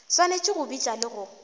swanetše go bitša le go